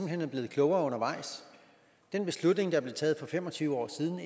hen er blevet klogere undervejs den beslutning der blev taget for fem og tyve år siden